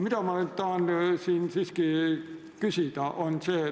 Aga ma tahan siiski küsida seda.